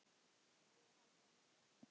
Já, ég held það líka.